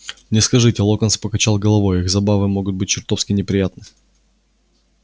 не скажите локонс покачал головой их забавы могут быть чертовски неприятны